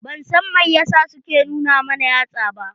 Ban san mai yasa su ke nu na mana yatsa ba.